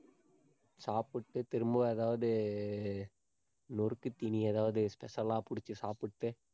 சாப்பிட்டு திரும்ப ஏதாவது நொறுக்குத் தீனி ஏதாவது special ஆ பிடிச்சு சாப்பிட்டு,